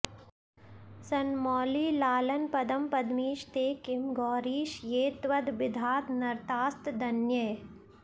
सन्मौळिलाळनपदं पदमीश ते किं गौरीश ये त्वदभिधा नरतास्तदन्ये